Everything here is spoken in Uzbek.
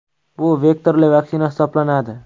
Bu vektorli vaksina hisoblanadi.